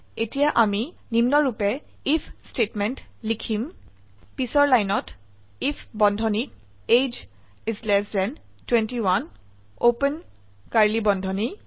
এতিয়া আমি নিম্নৰুপে আইএফ স্টেটমেন্ট লিখিম পিছৰ লাইনত আইএফ বন্ধনীত এজিই 21 ওপেন কাৰ্ড়লী বন্ধনী